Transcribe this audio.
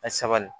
A sabali